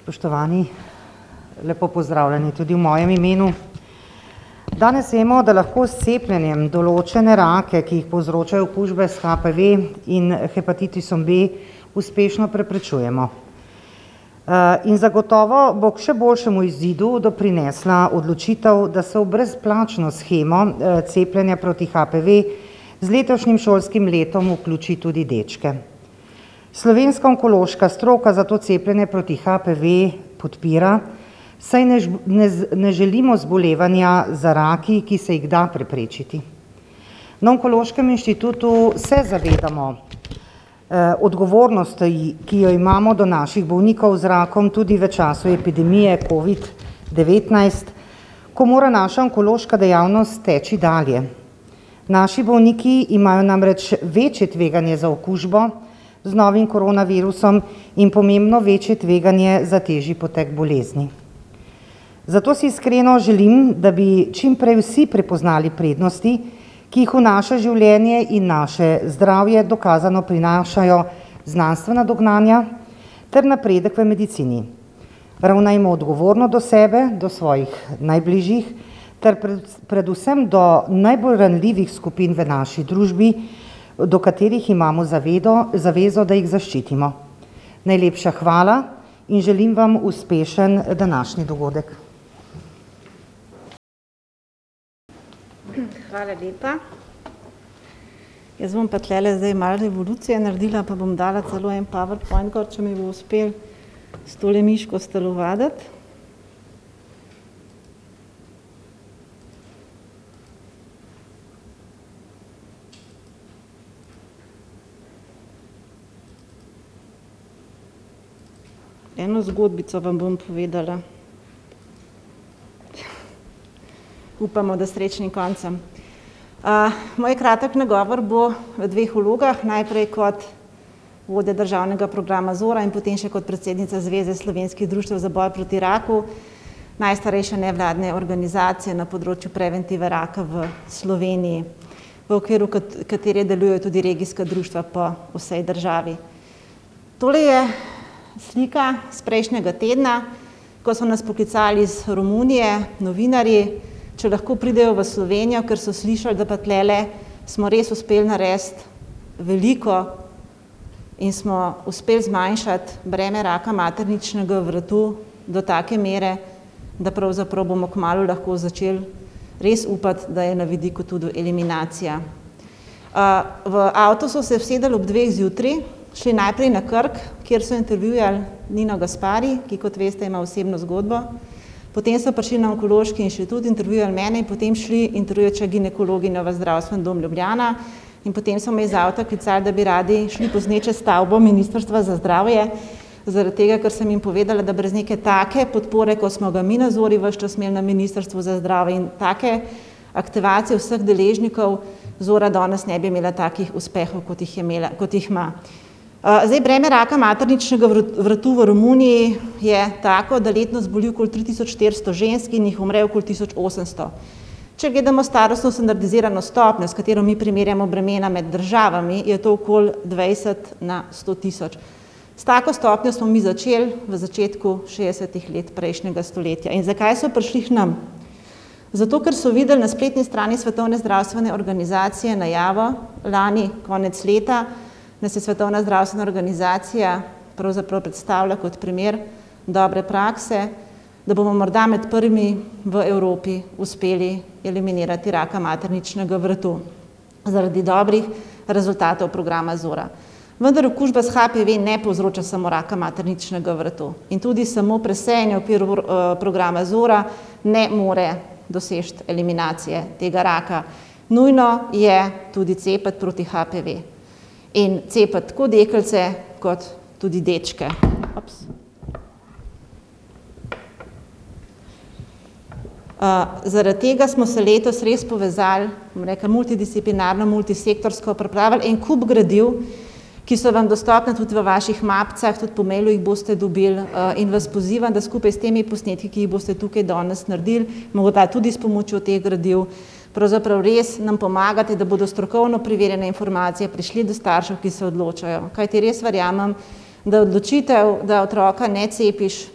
Spoštovani, lepo pozdravljeni tudi v mojem imenu. Danes vemo, da lahko s cepljenjem določene rake, ki jih povzročajo okužbe s HPV in hepatitisom B, uspešno preprečujemo. in zagotovo bo k še boljšemu izidu doprinesla odločitev, da se v brezplačno shemo, cepljenja proti HPV z letošnjim šolskim letom vključi tudi dečke. Slovenska onkološka stroka zato cepljenje proti HPV podpira, saj ne ne ne želimo zbolevanja za raki, ki se jih da preprečiti. Na Onkološkem inštitutu se zavedamo, odgovornosti, ki jo imamo do naših bolnikov z rakom tudi v času epidemije covid-devetnajst, ko mora naša onkološka dejavnost teči dalje. Naši bolniki imajo namreč večje tveganje za okužbo z novim koronavirusom in pomembno večje tveganje za težji potek bolezni. Zato si iskreno želim, da bi čim prej vsi prepoznali prednosti, ki jih v naše življenje in naše zdravje dokazano prinašajo znanstvena dognanja ter napredek v medicini. Ravnajmo odgovorno do sebe, do svojih najbližjih ter predvsem do najbolj ranljivih skupin v naši družbi, do katerih imamo zavezo, da jih zaščitimo. Najlepša hvala in želim vam uspešen današnji dogodek. hvala lepa. Jaz bom pa tulele zdaj malo revolucije naredila pa bom dala celo en powerpoint gor, če mi bo uspelo s tole miško stelovaditi. Eno zgodbico vam bom povedala. Upamo, da s srečnim koncem. moj kratki nagovor bo v dveh vlogah. Najprej kot vodja državnega programa Zora in potem še kot predsednica Zveze slovenskih društev za boj proti raku, najstarejše nevladne organizacije na področju preventive raka v Sloveniji, v okviru katere delujejo tudi regijska društva po vsej državi. Tole je slika s prejšnjega tedna, ko so nas poklicali iz Romunije novinarji, če lahko pridejo v Slovenijo, ker so slišali, da pa tulele smo res uspeli narediti veliko in smo uspeli zmanjšati breme raka materničnega vratu do take mere, da pravzaprav bomo kmalu lahko začeli res upati, da je na vidiku tudi eliminacija. v avto so se usedli ob dveh zjutraj, šli najprej na Krk, kjer so intervjuvali Nino Gaspari, ki, kot veste, ima osebno zgodbo. Potem so prišli na Onkološki inštitut, intervjuvali mene in potem šli intervjuvat še ginekologinjo v Zdravstveni dom Ljubljana. In potem so me iz avta klicali, da bi radi šli posnet še stavbo Ministrstva za zdravje, zaradi tega, ker sem jim povedala, da brez neke take podpore, kot smo ga mi na Zori ves čas imeli na Ministrstvu za zdravje, in take aktivacije vseh deležnikov Zora danes ne bi imela takih uspehov, kot jih je imela, kot jih ima. zdaj, breme raka materničnega vratu v Romuniji je tako, da letno zboli okoli tri tisoč štiristo žensk in jih umre okoli tisoč osemsto. Če gledamo starostno standardizirano stopnjo, s katero mi primerjamo bremena med državami, je to okoli dvajset na sto tisoč. S tako stopnjo smo mi začeli v začetku šestdesetih let prejšnjega stoletja. In zakaj so prišli k nam? Zato ker so videli na spletni strani Svetovne zdravstvene organizacije najavo lani konec leta, nas je Svetovna zdravstvena organizacija pravzaprav predstavila kot primer dobre prakse, da bomo morda med prvimi v Evropi uspeli eliminirati raka materničnega vrtu zaradi dobrih rezultatov programa Zora. Vendar okužba s HPV ne povzroča samo raka materničnega vratu. In tudi samo presejanje v, v okviru programa Zora ne more doseči eliminacije tega raka. Nujno je tudi cepiti proti HPV. In cepiti tako deklice kot tudi dečke. zaradi tega smo se letos res povezali, bom rekla, multidisciplinarno, multisektorsko, pripravili en kup gradiv, ki so vam dostopna tudi v vaših mapicah, tudi po mailu jih boste dobili, in vas pozivam, da skupaj s temi posnetki, ki jih boste tukaj danes naredili, morda tudi s pomočjo teh gradiv, pravzaprav res nam pomagate, da bodo strokovno preverjene informacije prišli do staršev, ki se odločajo. Kajti res verjamem, da odločitev, da otroka ne cepiš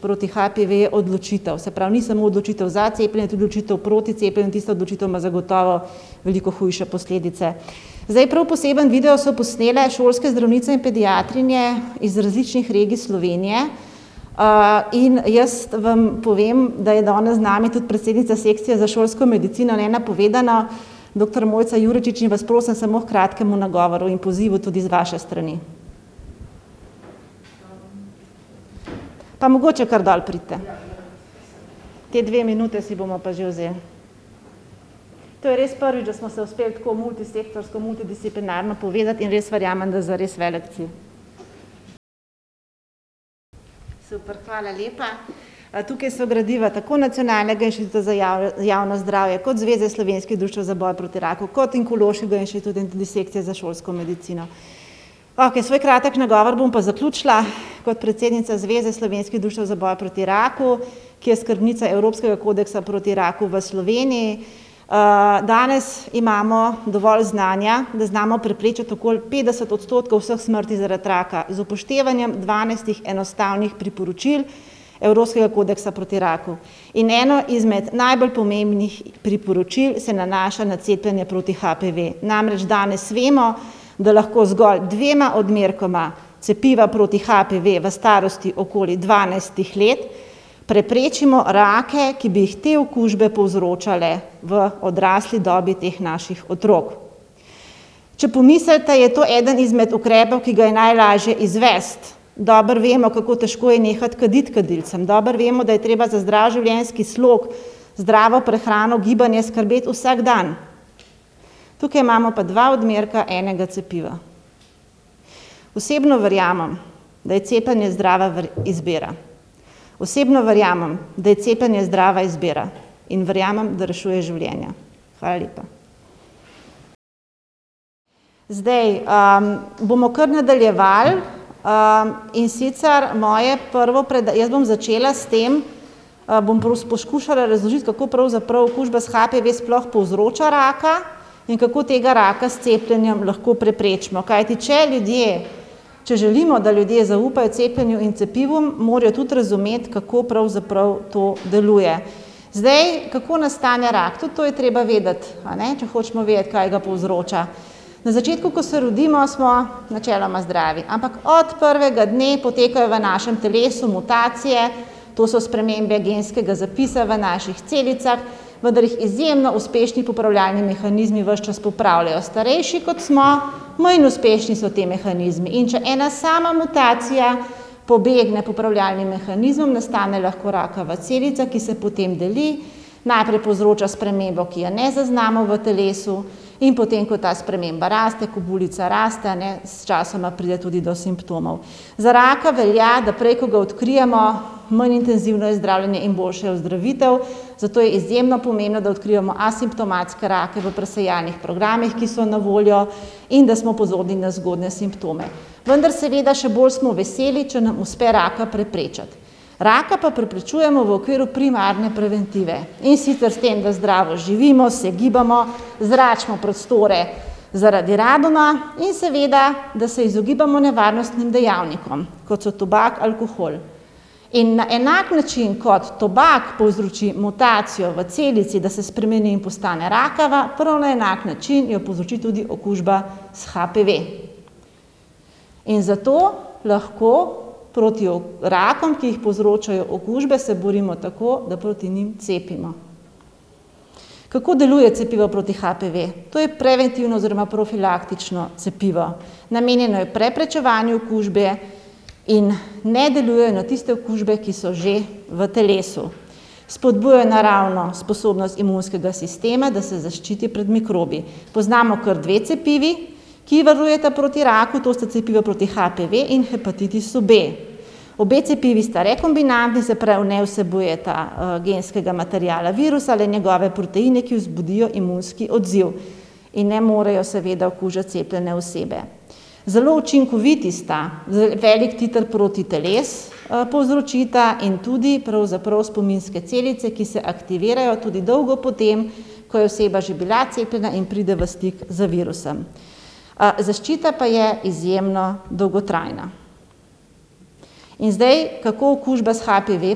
proti HPV, je odločitev. Se pravi, ni samo odločitev za cepljenje, je tudi odločitev proti cepljenju. Tista odločitev ima zagotovo veliko hujše posledice. Zdaj, prav poseben video so posnele šolske zdravnice in pediatrinje iz različnih regij Slovenije, in jaz vam povem, da je danes z nami tudi predsednica sekcije za šolsko medicino, nenapovedano, doktor Mojca Juročič, in vas prosim samo h kratkemu nagovoru in pozivu tudi z vaše strani. Pa mogoče kar dol pridite. Te dve minute si bomo pa že vzeli. To je res prvič, da smo se uspeli tako multisektorsko, multidisciplinarno povezati in res verjamem, da za res velik cilj. Super. Hvala lepa. tukaj so gradiva tako Nacionalnega inštituta za javno zdravje kot Zveze slovenskih društev za boj proti raku kot onkološkega inštituta in tudi sekcije za šolsko medicino. Okej, svoj kratek nagovor bom pa zaključila kot predsednica Zveze slovenskih društev za boj proti raku, ki je skrbnica Evropskega kodeksa proti raku v Sloveniji. danes imamo dovolj znanja, da znamo preprečiti okoli petdeset odstotkov vseh smrti zaradi raka z upoštevanjem dvanajstih enostavnih priporočil Evropskega kodeksa proti raku. In eno izmed najbolj pomembnih priporočil se nanaša na cepljenje proti HPV. Namreč danes vemo, da lahko z zgolj dvema odmerkoma cepiva proti HPV v starosti okoli dvanajstih let preprečimo rake, ki bi jih te okužbe povzročale v odrasli dobi teh naših otrok. Če pomislite, je to eden izmed ukrepov, ki ga je najlažje izvesti. Dobro vemo, kako težko je nehati kaditi kadilcem, dobro vemo, da je treba za zdrav življenjski slog, zdravo prehrano, gibanje skrbeti vsak dan. Tukaj imamo pa dva odmerka enega cepiva. Osebno verjamem, da je cepljenje zdrava izbira. Osebno verjamem, da je cepljenje zdrava izbira. In verjamem, da rešuje življenja. Hvala lepa. Zdaj, bomo kar nadaljevali. in sicer moje prvo jaz bom začela s tem, bom poskušala razložiti, kako pravzaprav okužba s HPV sploh povzroča raka in kako tega raka s cepljenjem lahko preprečimo. Kajti če ljudje, če želimo, da ljudje zaupajo cepljenju in cepivu, morajo tudi razumeti, kako pravzaprav to deluje. Zdaj, kako nastane rak? Tudi to je treba vedeti, a ne, če hočemo vedeti, kaj ga povzroča. Na začetku, ko se rodimo, smo načeloma zdravi. Ampak od prvega dne potekajo v našem telesu mutacije, to so spremembe genskega zapisa v naših celicah, vendar jih izjemno uspešni popravljalni mehanizmi ves čas popravljajo. Starejši, kot smo, manj uspešni so ti mehanizmi. In če ena sama mutacija pobegne popravljalnim mehanizmom, nastane lahko rakava celica, ki se potem deli. Najprej povzroča spremembo, ki je ne zaznamo v telesu, in potem, ko ta sprememba raste, ko bulica raste, a ne, sčasoma pride tudi do simptomov. Za raka velja, da prej, ko ga odkrijemo, manj intenzivno je zdravljenje in boljša je ozdravitev. Zato je izjemno pomembno, da odkrijemo asimptomatske rake v presejalnih programih, ki so na voljo, in da smo pozorni na zgodnje simptome. Vendar seveda še bolj smo veseli, če nam uspe raka preprečiti. Raka pa preprečujemo v okviru primarne preventive. In sicer s tem, da zdravo živimo, se gibamo, zračimo prostore zaradi radona in seveda, da se izogibamo nevarnostnim dejavnikom, kot so tobak, alkohol. In na enak način, kot tobak povzroči mutacijo v celici, da se spremeni in postane rakava, prav na enak način jo povzroči tudi okužba s HPV. In zato lahko proti rakom, ki jih povzročajo okužbe, se borimo tako, da proti njim cepimo. Kako deluje cepivo proti HPV? To je preventivno oziroma profilaktično cepivo. Namenjeno je preprečevanju okužbe in ne deluje na tiste okužbe, ki so že v telesu. Spodbuja naravno sposobnost imunskega sistema, da se zaščiti pred mikrobi. Poznamo kar dve cepivi, ki varujeta proti raku, to sta cepivo proti HPV in hepatitisu B. Obe cepivi sta rekombinantni, se pravi ne vsebujeta, genskega materiala virusa, le njegove proteine, ki vzbudijo imunski odziv in ne morejo seveda okužiti cepljene osebe. Zelo učinkoviti sta. veliko titer protiteles, povzročita in tudi pravzaprav spominske celice, ki se aktivirajo tudi dolgo po tem, ko je oseba že bila cepljena in pride v stik z virusom. zaščita pa je izjemno dolgotrajna. In zdaj, kako okužba s HPV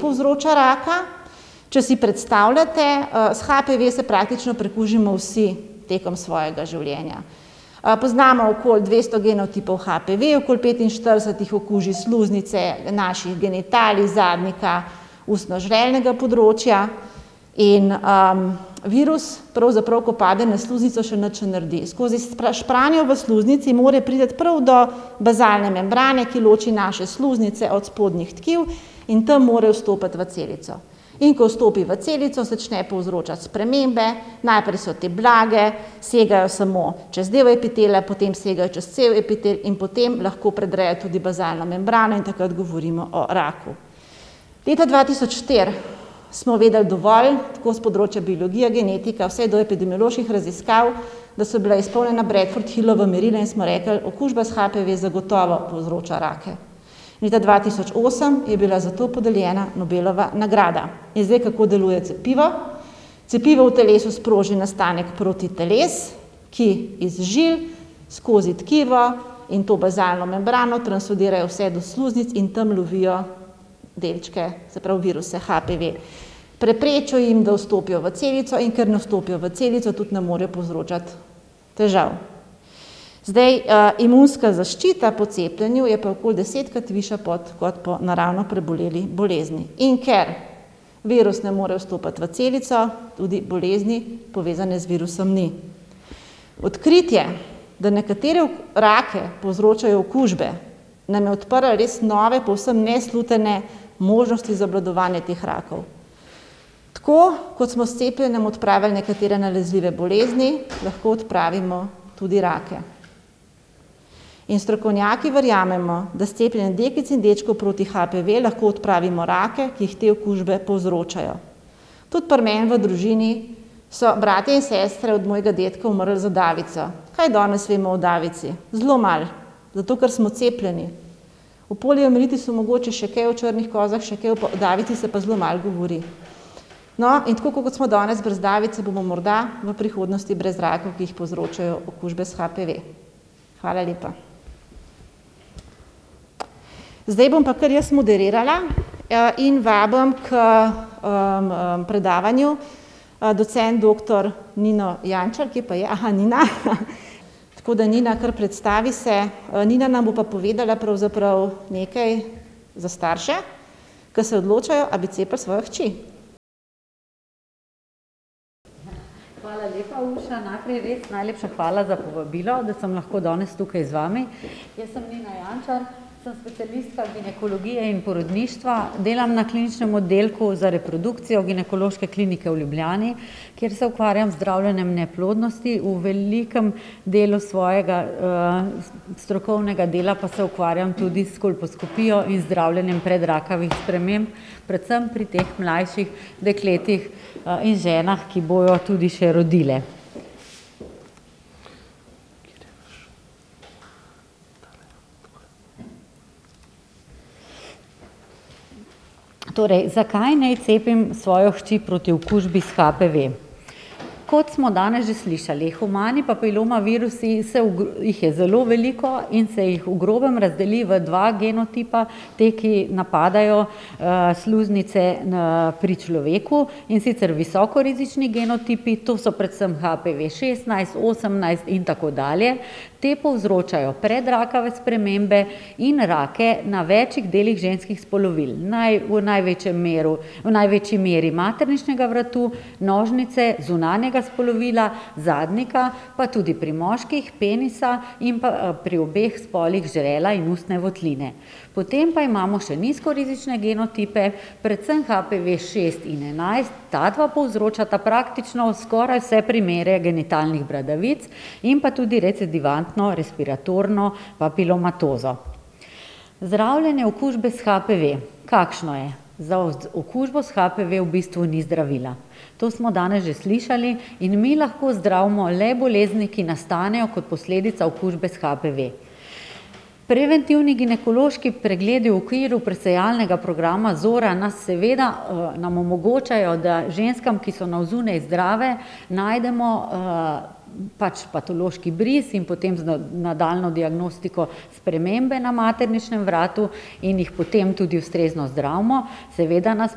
povzroča raka? Če si predstavljate, s HPV se praktično prekužimo vsi tekom svojega življenja. poznamo okoli dvesto genotipov HPV, okoli petinštirideset jih okuži sluznice naših genitalij, zadnjika, ustno-žrelnega področja in, virus pravzaprav, ko pade na sluznico, še nič ne naredi. Skozi špranjo v sluznici mora priti prav do bazalne membrane, ki loči naše sluznice od spodnjih tkiv, in tam more vstopiti v celico. In ko vstopi v celico, začne povzročati spremembe, najprej so te blage, segajo samo čez del epitelija, potem segajo čez celo epitel in potem lahko predrejo tudi bazalno membrano in takrat govorimo o raku. Leta dva tisoč štiri smo vedeli dovolj, tako s področja biologije, genetike, vse do epidemioloških raziskav, da so bila izpolnjena Bradford-Hillova merila, in smo rekli: "Okužba s HPV zagotovo povzroča rake." Leta dva tisoč osem je bila zato podeljena Nobelova nagrada. In zdaj, kako deluje cepivo? Cepivo v telesu sproži nastanek protiteles, ki iz žil skozi tkivo in to bazalno membrano translodirajo vse do sluznic in tam lovijo delčke, se pravi viruse HPV. Preprečijo jim, da vstopijo v celico, in ker ne vstopijo v celico, tudi ne morejo povzročati težav. Zdaj, imunska zaščita po cepljenju je pa okoli desetkrat višja kot po naravno preboleli bolezni. In ker virus ne more vstopiti v celico, tudi bolezni, povezane z virusom, ni. Odkritje, da nekatere rake povzročajo okužbe, nam je odprlo res nove, povsem neslutene možnosti za obvladovanje teh rakov. Tako, kot smo s cepljenjem odpravili nekatere nalezljive bolezni, lahko odpravimo tudi rake. In strokovnjaki verjamemo, da s cepljenjem deklic in dečkov proti HPV lahko odpravimo rake, ki jih te okužbe povzročajo. Tudi pri meni v družini so bratje in sestre od mojega dedka umrli za davico. Kaj danes vemo o davici? Zelo malo. Zato ker smo cepljeni. O poliomielitisu mogoče še kaj, o črnih kozah še kaj, o davici se pa zelo malo govori. No, in tako kot smo danes brez davice, bomo morda v prihodnosti brez rakov, ki jih povzročajo okužbe s HPV. Hvala lepa. Zdaj bom pa kar jaz moderirala, in vabim k, predavanju, docent doktor Nino Jančar. Kje pa je? Nina. Tako da Nina, kar predstavi se. Nina nam bo pa povedala pravzaprav nekaj za starše, ke se odločajo, a bi cepili svojo hči. Hvala lepa, Urša. Najprej res najlepša hvala za povabilo, da sem lahko danes tukaj z vami. Jaz sem Nina Jančar, sem specialistka ginekologije in porodništva, delam na Kliničnem oddelku za reprodukcijo Ginekološke klinike v Ljubljani, kjer se ukvarjam z zdravljenjem neplodnosti, v velikem delu svojega, strokovnega dela pa se ukvarjam tudi s kolposkopijo in zdravljenjem predrakavih sprememb, predvsem pri teh mlajših dekletih, in ženah, ki bojo tudi še rodile. Torej, zakaj naj cepim svojo hčer proti okužbi s HPV? Kot smo danes že slišali, humani papiloma virusi se jih je zelo veliko in se jih v grobem razdeli v dva genotipa. Ti, ki napadajo, sluznice pri človeku, in sicer visoko rizični genotipi, to so predvsem HPV-šestnajst, osemnajst in tako dalje. Ti povzročajo predrakave spremembe in rake na več delih ženskih spolovil. v največjem meru, v največji meri materničnega vratu, nožnice, zunanjega spolovila, zadnjika, pa tudi pri moških penisa in pa pri obeh spolih žrela in ustne votline. Potem pa imamo še nizko rizične genotipe, predvsem HPV-šest in enajst. Ta dva povzročata praktično skoraj vse primere genitalnih bradavic in pa tudi recedivantno respiratorno papilomatozo. Zdravljenje okužbe s HPV. Kakšno je? Za okužbo s HPV v bistvu ni zdravila. To smo danes že slišali. In mi lahko zdravimo le bolezni, ki nastanejo kot posledica okužbe s HPV. Preventivni ginekološki pregledi v okviru presejalnega programa Zora nas seveda, nam omogočajo, da ženskam, ki so na zunaj zdrave, najdemo, pač patološki bris in potem z nadaljnjo diagnostiko spremembe na materničnem vratu, in jih potem tudi ustrezno zdravimo. Seveda nas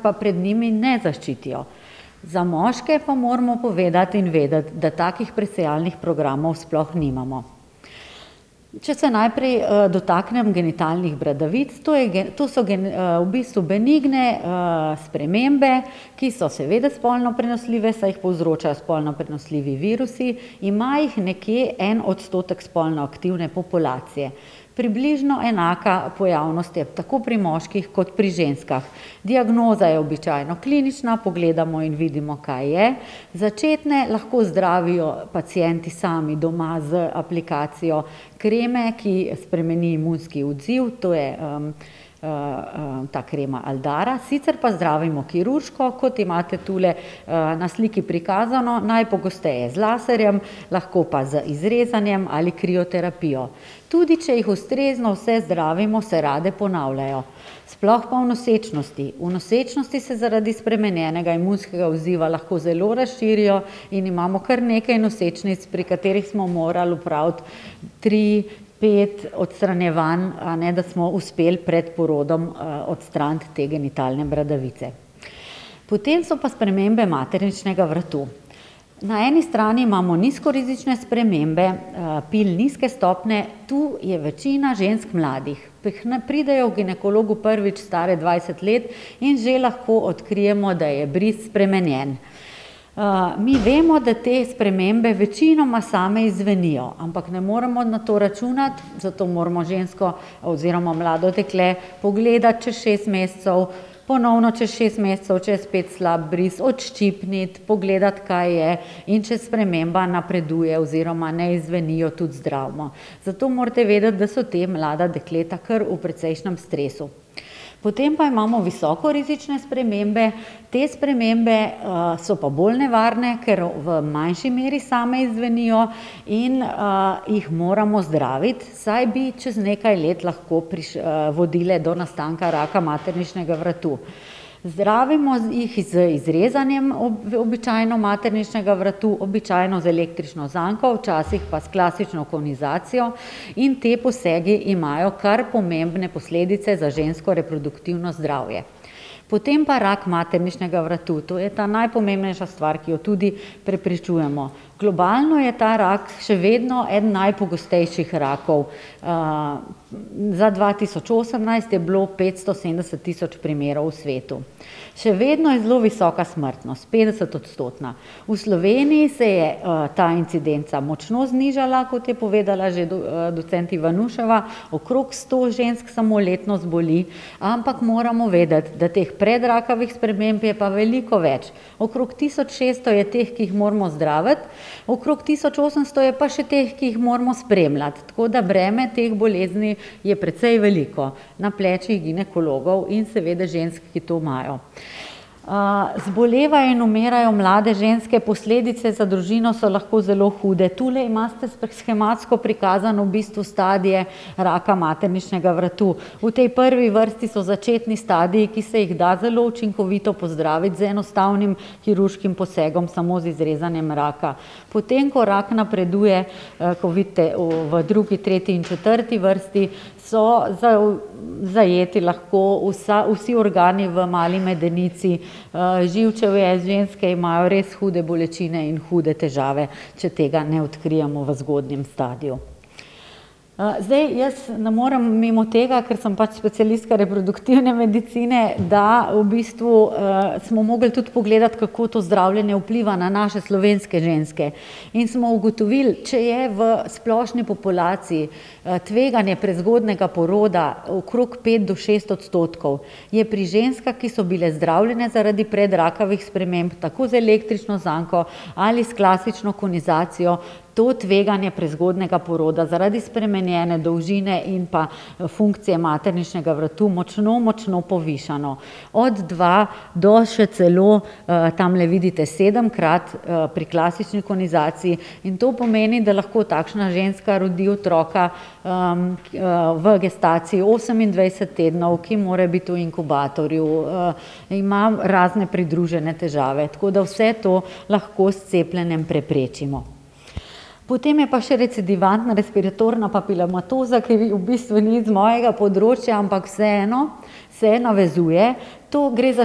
pa pred njimi ne zaščitijo. Za moške pa moramo povedati in vedeti, da takih presejalnih programov sploh nimamo. Če se najprej, dotaknem genitalnih bradavic. To je to so v bistvu benigne, spremembe, ki so seveda spolno prenosljive, saj jih povzročajo spolno prenosljivi virusi, ima jih nekje en odstotek spolno aktivne populacije. Približno enaka pojavnost je tako pri moških kot pri ženskah. Diagnoza je običajno klinična, pogledamo in vidimo, kaj je. Začetne lahko zdravijo pacienti sami doma z aplikacijo kreme, ki spremeni imunski odziv, to je, ta krema Aldara, sicer pa zdravimo kirurško, kot imate tule, na sliki prikazano, najpogosteje z laserjem, lahko pa z izrezanjem ali krioterapijo. Tudi če jih ustrezno vse zdravimo, se rade ponavljajo. Sploh pa v nosečnosti. V nosečnosti se zaradi spremenjenega imunskega odziva lahko zelo razširijo in imamo kar nekaj nosečnic, pri katerih smo morali opraviti tri, pet odstranjevanj, a ne, da smo uspeli pred porodom, odstraniti te genitalne bradavice. Potem so pa spremembe materničnega vratu. Na eni strani imamo nizko rizične spremembe, pil nizke stopnje. Tu je večina žensk mladih. k nam pridejo h ginekologu prvič stare dvajset let in že lahko odkrijemo, da je bris spremenjen. mi vemo, da te spremembe večinoma same izzvenijo. Ampak ne moremo na to računati, zato moramo žensko oziroma mlado dekle pogledati čez šest mesecev, ponovno čez šest mesecev, če je spet slab bris, odščipniti, pogledati, kaj je, in če sprememba napreduje oziroma ne izzveni, jo tudi zdravimo. Zato morate vedeti, da so ta mlada dekleta kar v precejšnjem stresu. Potem pa imamo visoko rizične spremembe. Te spremembe, so pa bolj nevarne, ker v manjši meri same izzvenijo in, jih moramo zdraviti, saj bi čez nekaj let lahko vodile do nastanka raka materničnega vratu. Zdravimo jih z izrezanjem običajno materničnega vratu, običajno z električno zanko, včasih pa s klasično konizacijo, in ti posegi imajo kar pomembne posledice za žensko reproduktivno zdravje. Potem pa rak materničnega vratu. To je ta najpomembnejša stvar, ki jo tudi preprečujemo. Globalno je ta rak še vedno eden najpogostejših rakov, za dva tisoč osemnajst je bilo petsto sedemdeset tisoč primerov v svetu. Še vedno je zelo visoka smrtnost, petdesetodstotna. V Sloveniji se je, ta incidenca močno znižala, kot je povedala že docent Ivanuševa, okrog sto žensk samo letno zboli. Ampak moramo vedeti, da teh predrakavih sprememb je pa veliko več. Okrog tisoč šeststo je teh, ki jih moramo zdraviti, okrog tisoč osemsto je pa še teh, ki jih moramo spremljati. Tako da breme teh bolezni je precej veliko. Na plečih ginekologov in seveda žensk, ki to imajo. zbolevajo in umirajo mlade ženske, posledice za družino so lahko zelo hude. Tule imate shematsko prikazane v bistvu stadije raka materničnega vratu. V tej prvi vrsti so začetni stadiji, ki se jih da zelo učinkovito pozdraviti z enostavnim kirurškim posegom, samo z izrezanjem raka. Potem ko rak napreduje, kot vidite, v drugi, tretji in četrti vrsti, so zajeti lahko vsa, vsi organi v mali medenici, živčevje, ženske imajo res hude bolečine in hude težave, če tega ne odkrijemo v zgodnjem stadiju. zdaj, jaz ne morem mimo tega, ker sem pač specialistka reproduktivne medicine, da v bistvu, smo mogli tudi pogledati, kako to zdravljenje vpliva na naše slovenske ženske. In smo ugotovili, če je v splošni populaciji, tveganje prezgodnjega poroda okrog pet do šest odstotkov, je pri ženskah, ki so bile zdravljene zaradi predrakavih sprememb, tako z električno zanko ali s klasično konizacijo, to tveganje prezgodnjega poroda zaradi spremenjene dolžine in pa funkcije materničnega vratu močno, močno povišano. Od dva do še celo, tamle vidite sedemkrat, pri klasični konizaciji. In to pomeni, da lahko takšna ženska rodi otroka, v gestaciji osemindvajset tednov, ki mora biti v inkubatorju, ima razne pridružene težave. Tako da vse to lahko s cepljenjem preprečimo. Potem je pa še recedivantna respiratorna papilomatoza, ki v bistvu ni z mojega področja, ampak vseeno se navezuje. To gre za